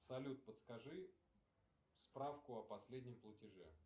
салют подскажи справку о последнем платеже